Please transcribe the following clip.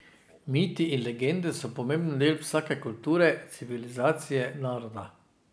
Miti in legende so pomemben del vsake kulture, civilizacije, naroda.